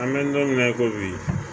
An bɛ don mina i ko bi